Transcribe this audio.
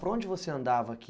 Por onde você andava aqui?